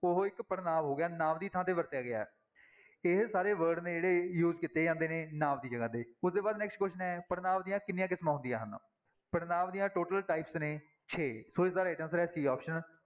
ਉਹ ਇੱਕ ਪੜ੍ਹਨਾਂਵ ਹੋ ਗਿਆ ਨਾਂਵ ਦੀ ਥਾਂ ਤੇ ਵਰਤਿਆ ਗਿਆ, ਇਹ ਸਾਰੇ word ਨੇ ਜਿਹੜੇ use ਕੀਤੇ ਜਾਂਦੇ ਨੇ ਨਾਂਵ ਦੀ ਜਗ੍ਹਾ ਤੇ, ਉਹਦੇ ਬਾਅਦ next question ਹੈ ਪੜ੍ਹਨਾਂਵ ਦੀਆਂ ਕਿੰਨੀਆਂ ਕਿਸਮਾਂ ਹੁੰਦੀਆਂ ਹਨ, ਪੜ੍ਹਨਾਂਵ ਦੀਆਂ total types ਨੇ ਛੇ ਸੋ ਇਸਦਾ right answer ਹੈ c option